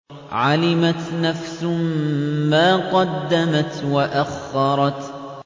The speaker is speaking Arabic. عَلِمَتْ نَفْسٌ مَّا قَدَّمَتْ وَأَخَّرَتْ